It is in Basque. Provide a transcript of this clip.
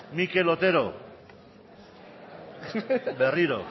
mikel otero berriro